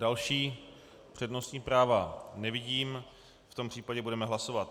Další přednostní práva nevidím, v tom případě budeme hlasovat.